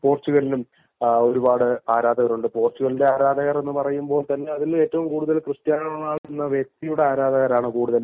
തൊട്ടുപുറകേ പോർട്ടുഗലിനും ഒരുപാട് ആരാധകരുണ്ട് പോർട്ടുഗലിന്റെ ആരാധകർ എന്ന് പറയുമ്പോൾ അതിൽ ക്രിസ്ത്യാനോ റൊണാൾഡോ എന്ന വക്തിയുടെ ആരാധകരാണ് കൂടുതൽ